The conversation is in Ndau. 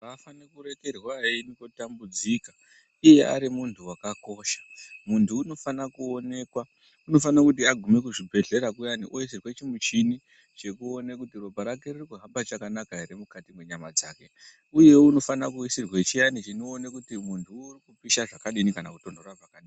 Avafanirwi kurekerwa eitambudzika iye arimunhu wakakosha , muntu unofana kuonekwa unofana kuti aguma kuzvibhedhlera kuyani oisirwe chimushini chekuona kuti ropa rake riri kuhamba chakanaka ere mukati mwenyama dzake uye unofane kuisirwe chiyani chinokone kuti muntuwo urikupisha zvakadini kana kutonhora zvakadini.